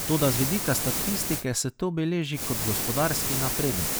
Toda z vidika statistike se to beleži kot gospodarski napredek.